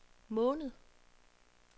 måned